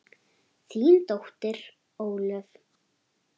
Þín dóttir, Ólöf.